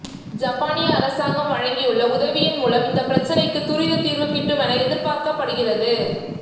ஜப்பானிய அரசாங்கம் வழங்கியுள்ள உதவியின் மூலம் இந்தப் பிரச்சினைக்குத் துரித தீர்வு கிட்டுமென எதிர்பார்க்கப்படுகிறது